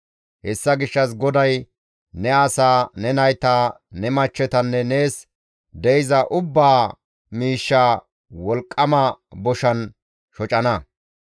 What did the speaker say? Hessa gishshas GODAY ne asaa, ne nayta, ne machchetanne nees de7iza ubbaa miishshaa wolqqama boshan shocana.